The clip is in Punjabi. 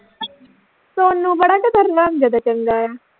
ਸੋਨੂੰ ਬੜਾ ਕਿਤੇ ਚੰਗਾ ਆ